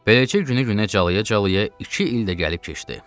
Beləcə günü günə calaya-calaya iki il də gəlib keçdi.